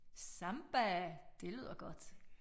Samba det lyder godt